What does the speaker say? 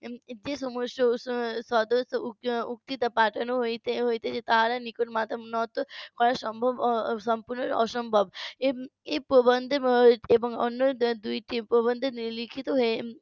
যে সমস্ত . পাঠানো হয়েছে হয়েছে তার নিকট মাথা নত করা সম্ভব সম্পূর্ণ অসম্ভব এম এই প্রবন্ধ বা দুইটি প্রবন্ধে লিখিত হয়ে